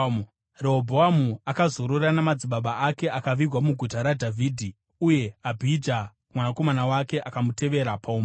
Rehobhoamu akazorora namadzibaba ake akavigwa muguta raDhavhidhi. Uye Abhija mwanakomana wake akamutevera paumambo.